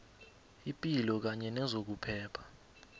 ipilo kanye nezokuphepha